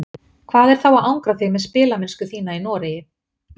Hvað er þá að angra þig með spilamennsku þína í Noregi?